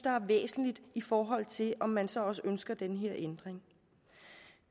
væsentligt i forhold til om man så også ønsker den her ændring